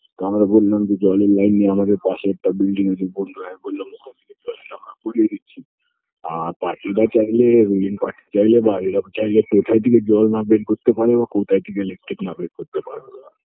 তো আমরা বললাম যে জলের line নেই আমাদের পাশের একটা building আছে বলল হ্যাঁ বললাম ওখান থেকে আমরা করিয়ে দিচ্ছি আর পাঁচুদা চাইলে willing party চাইলে বা এরা চাইলে কোথায় থেকে জল না বের করতে পারে আর কোথায় থেকে electric না বের করতে পারবে ওরা